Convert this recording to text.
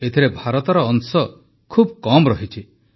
ଏଥିରେ ଭାରତର ଅଂଶ ଖୁବ କମ ରହିଛି